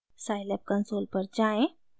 scilab console पर जाएँ